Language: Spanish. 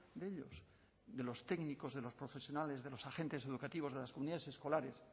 de ellos de los técnicos de los profesionales de los agentes educativos de las comunidades escolares